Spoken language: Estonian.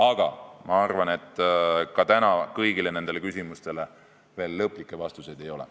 Aga ma arvan, et täna kõigile nendele küsimustele veel lõplikke vastuseid ei ole.